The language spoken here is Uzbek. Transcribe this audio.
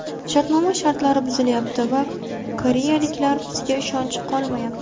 Shartnoma shartlari buzilayapti va koreyaliklar bizga ishonchi qolmayapti.